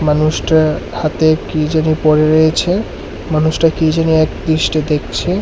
মানুষটা হাতে কি যেন পরে রয়েছে মানুষটা কি যেন একদৃষ্টে দেখছে।